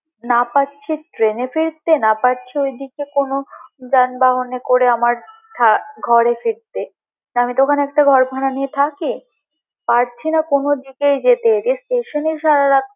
না পারছি train এ ফিরতে, না পারছি ওইদিকে কোনো যানবাহনে করে আমার ~ঘরে ফিরতে তো আমি তো ওখানে ঘর ভাড়া নিয়ে থাকি। পারছি না কোনো দিকেই যেতে যে station ই সারা রাত।